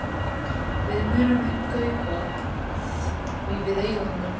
Við munum ekki kaupa því við eigum engan pening.